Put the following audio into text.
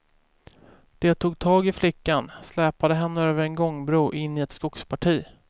De tog tag i flickan, släpade henne över en gångbro in i ett skogsparti.